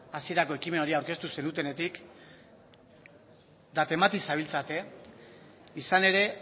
hasierako ekimen hori aurkeztu zenutenetik eta temati zabiltzate izan ere